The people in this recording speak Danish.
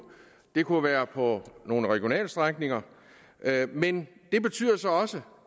det kunne være på nogle regionalstrækninger men det betyder så også